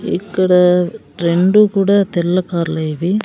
ఇక్కడ రెండు కూడా తెల్ల కార్లే ఇవి.